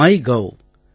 MyGov